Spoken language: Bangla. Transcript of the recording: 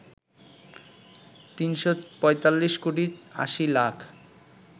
৩৪৫ কোটি ৮০ লাখ